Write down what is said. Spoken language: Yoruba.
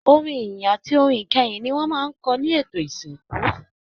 Orin ìyìn àti orin ìkẹyìn ní wọn máa n kọ ní ètò ìsìnkú.